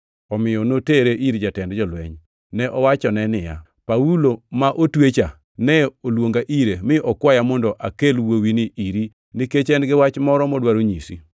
Omiyo notere ir jatend jolweny. Ne owachone niya, “Paulo ma otwecha ne oluonga ire mi okwaya mondo akel wuowini iri nikech, en-gi wach moro modwaro nyisi.”